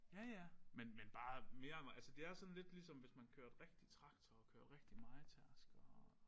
Ja ja men men bare mere det er sådan lidt ligesom hvis man kørte rigtig traktor kørte rigtig mejetærsker og